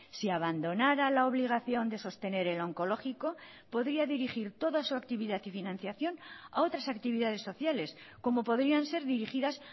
si abandonara la obligación de sostener el oncológico podría dirigir toda su actividad y financiación a otras actividades sociales como podrían ser dirigidas